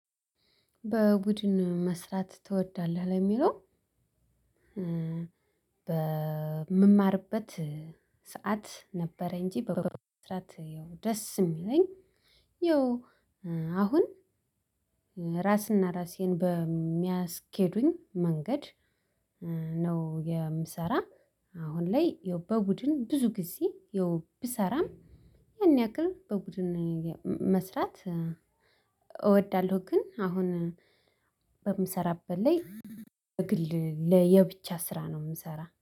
በቡድን መስራት ትወዳለህ? ለሚለው በምማርበት ሰዓት ነበረ እንጂ በብዛት ያው ደስ የሚለኝ አሁን ራስና ራሴን በሚያስኬዱኝ መንገድ ነው የምሰራ አሁን ላይ ያው በቡድን ብዙ ጊዜ ያው ብሰራም ያን ያክል በቡድን መስራት እወዳለሁ ግን አሁን በምሰራበት ላይ በግል ለየብቻ ስራ ነው የምሰራ።